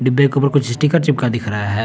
बे के ऊपर कुछ स्टीकर चिपका दिख रहा है।